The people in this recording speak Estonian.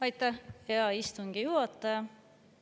Aitäh, hea istungi juhataja!